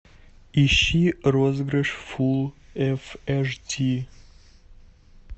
ищи розыгрыш фулл эф эш ди